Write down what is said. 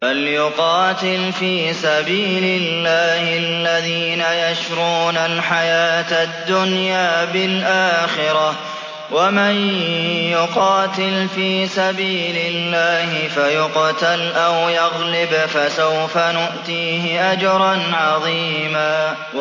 ۞ فَلْيُقَاتِلْ فِي سَبِيلِ اللَّهِ الَّذِينَ يَشْرُونَ الْحَيَاةَ الدُّنْيَا بِالْآخِرَةِ ۚ وَمَن يُقَاتِلْ فِي سَبِيلِ اللَّهِ فَيُقْتَلْ أَوْ يَغْلِبْ فَسَوْفَ نُؤْتِيهِ أَجْرًا عَظِيمًا